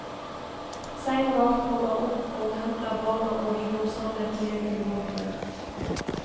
Seinvakt kommer opp og henter barna og vi går samlet ned til båtene.